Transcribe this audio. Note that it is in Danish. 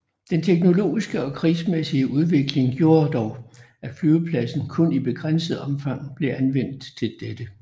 Den teknologiske og krigsmæssige udvikling gjorde dog at flyvepladsen kun i begrænset omfang blev anvendt til dette